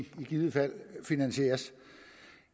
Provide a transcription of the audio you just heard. givet fald finansieres